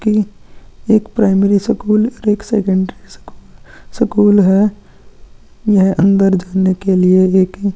की एक primary school और एक स्केंडरी स्कूल स्कूल है यह अंदर जाने के लिए एक ही --